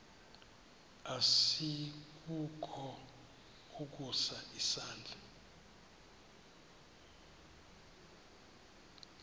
asikukho ukusa isandla